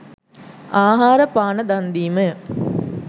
ආහාර පාන දන් දීමය.